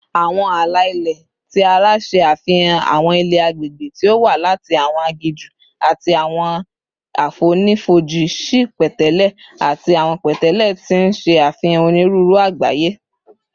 Awọn ala-ilẹ ti ara ṣe afihan awọn ilẹ agbegbe ti o wa lati awọn aginju ati awọn afonifoji si pẹtẹlẹ ati awọn pẹtẹlẹ, ti n ṣe afihan oniruuru Agbaye